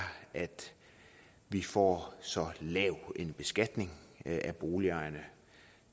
at vi får så lav en beskatning af boligejerne